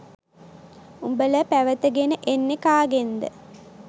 උඹල පැවතගෙන එන්නෙ කාගෙන්ද